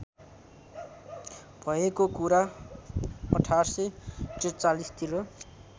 भएको कुरा १८४३ तिर